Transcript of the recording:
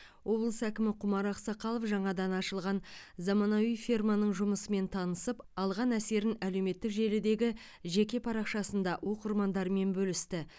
облыс әкімі құмар ақсақалов жаңадан ашылған заманауи ферманың жұмысымен танысып алған әсерін әлеуметтік желідегі жеке парақшасында оқырмандарымен бөлісті